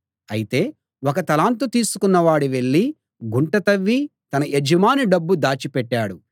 అయితే ఒక తలాంతు తీసుకున్న వాడు వెళ్ళి గుంట తవ్వి తన యజమాని డబ్బు దాచిపెట్టాడు